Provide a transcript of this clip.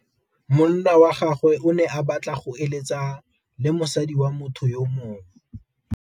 Monna wa gagwe o ne a batla go êlêtsa le mosadi wa motho yo mongwe.